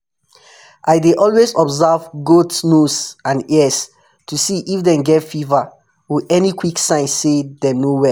i dey always observe goat nose and ears to see if dem get fever or any quick sign say dem no well.